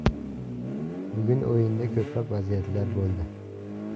Bugun o‘yinda ko‘plab vaziyatlar bo‘ldi.